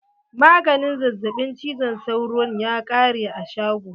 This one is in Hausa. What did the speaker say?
Maganin zazzaɓin cizon sauron ya ƙare a shago.